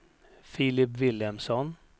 Filip Vilhelmsson